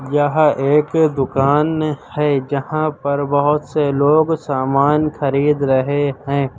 यह एक दुकान है जहां पर बहोत से लोग सामान खरीद रहे हैं।